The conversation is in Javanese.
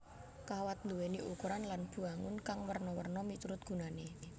Kawat nduwéni ukuran lan bwangun kang werna werna miturut gunané